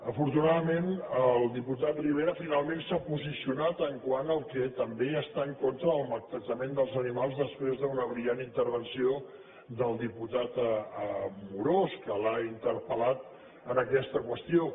afortunadament el diputat rivera finalment s’ha posicionat quant al fet que també està en contra del maltractament dels animals després d’una brillant intervenció del diputat amorós que l’ha interpel·lat en aquesta qüestió